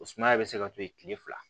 O sumaya bɛ se ka to yen tile fila